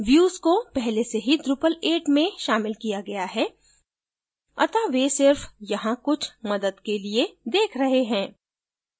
views को पहले से ही drupal 8 में शामिल किया गया है अत: वे सिर्फ यहाँ कुछ मदद के लिए देख रहे हैं